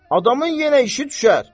Adamın yenə işi düşər.